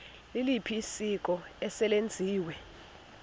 liliphi isiko eselenziwe